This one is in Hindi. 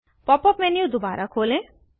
पॉप अप मेन्यू दोबारा खोलें